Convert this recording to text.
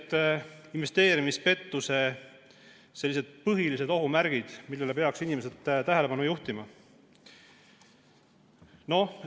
Mis on investeerimispettuse põhilised ohumärgid, millele peaks inimesed tähelepanu pöörama?